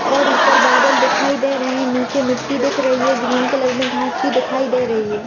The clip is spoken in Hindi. और ऊपर बादल दिखाई दे रहे है नीचे मिट्टी दिख रही है ग्रीन कलर में घास भी दिखाई दे रही है ।